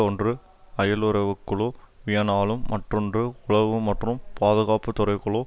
ஒன்று அயலுறவுக்குழு வியனாலும் மற்றொன்று உளவு மற்றும் பாதுகாப்பு துறைக்குழு